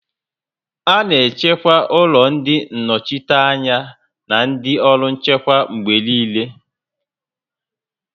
A na-echekwa ụlọ ndị nnọchiteanya na ndị ọrụ nchekwa mgbe niile